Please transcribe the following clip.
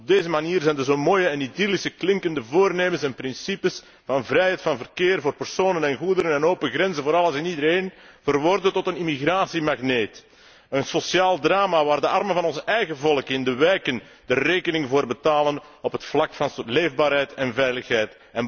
Op deze manier zijn dus mooie en idyllisch klinkende voornemens en principes van vrijheid van verkeer voor personen en goederen en open grenzen voor alles en iedereen verworden tot een immigratie magneet, een sociaal drama waar de armen van ons eigen volk in de wijken de rekening voor betalen op het vlak van leefbaarheid en veiligheid.